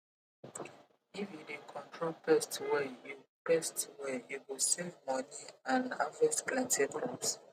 if you dey control pest well you pest well you go save money and harvest plenty crops